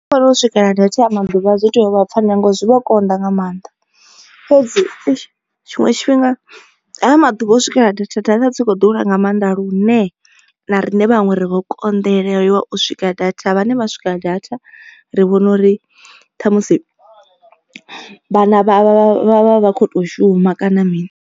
Nṋe ndi vhona u swikelela data a ya maḓuvha dzi tou vha pfhanywa ngori zwi vho konḓa nga maanḓa. Fhedzi eish tshiṅwe tshifhinga haya maḓuvha a u swikelela data data dzi kho ḓura nga maanḓa lune na riṋe vhaṅwe ri vho konḓelelwa u swika data vhane vha swika data ri vhona uri ṱhamusi vhana vha vha vha vha vha vha kho to shuma kana mini.